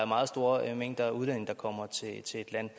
meget store mængder af udlændinge kommer til et land